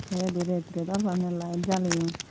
te eyot he ret ret or panye light jaleyoun.